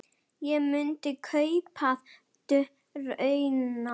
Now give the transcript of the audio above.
Ég myndi kaupa dróna.